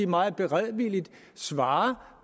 meget beredvilligt svarer